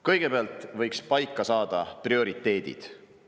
Kõigepealt võiks paika saada prioriteedid.